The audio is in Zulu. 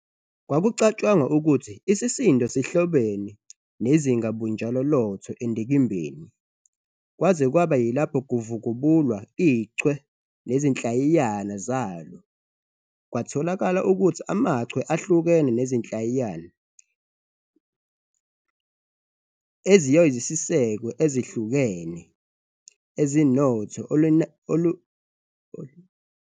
Kwakucatshangwa ukuthi isisindo sihlobene nezingabunjalo loTho endikimbeni, kwaze kwaba yilapho kuvubukulwa iChwe nezinhlayiyana zalo. Kwatholakala ukuthi amachwe ahlukene nezinhlayiyana eziyosiseko ezihlukene, ezinoTho olunenani elifanayo ngokomchachiso, zinezisindo ezihlukene.